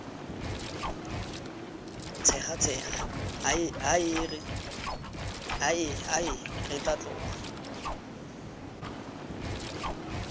tshegatshega hae re tla tloga